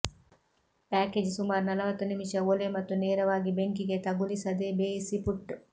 package ಸುಮಾರು ನಲವತ್ತು ನಿಮಿಷ ಒಲೆ ಮತ್ತು ನೇರವಾಗಿ ಬೆಂಕಿಗೆ ತಗುಲಿಸದೆ ಬೇಯಿಸು ಪುಟ್